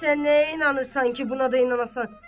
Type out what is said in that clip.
Sən nəyə inanırsan ki, buna da inanasan.